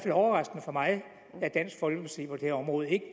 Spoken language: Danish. overraskende for mig at dansk folkeparti på det her område ikke